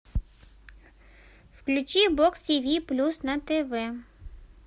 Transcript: включи бокс тв плюс на тв